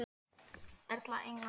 Erla Eyland.